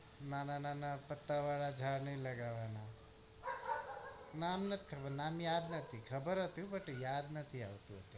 નાના નાના પતા વાર ઝાડ નઈ લાગવા ના નામ નથ ખબર નામ યાદ નથી ખબર હતું but યાદ નથી આવતું